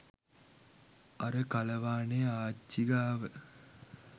අර කලවානේ ආච්චී ගාව